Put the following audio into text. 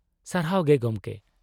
-ᱥᱟᱨᱦᱟᱣ ᱜᱮ ᱜᱚᱢᱠᱮ ᱾